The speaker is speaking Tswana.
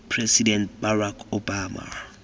president barack obama